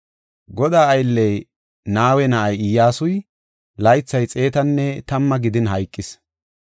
Godaa aylley, Nawe na7ay Iyyasuy laythay xeetanne tamma gidin hayqis.